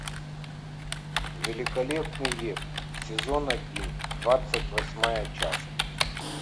великолепный век сезон один двадцать восьмая часть